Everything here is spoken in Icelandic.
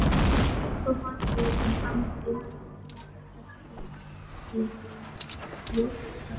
Og vanlíðan hans eins og hann hefði gleypt spjótsodd.